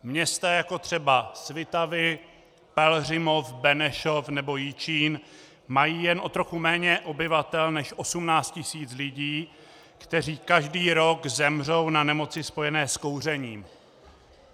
Města jako třeba Svitavy, Pelhřimov, Benešov nebo Jičín mají jen o trochu méně obyvatel než 18 tisíc lidí, kteří každý rok zemřou na nemoci spojené s kouřením.